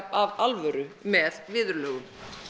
af alvöru með viðurlögum